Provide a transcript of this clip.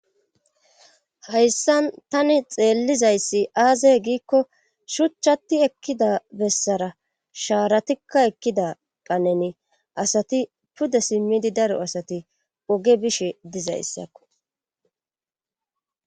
hayssan tani xeellizayssi aazey giikko shuchchati ekkida bessara shaaratikka ekkida qaneni asati pudda simmidi daro asati woge bishe dizayssakko